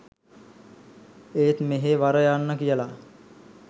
ඒත් "මෙහෙ වර යන්න" කියලා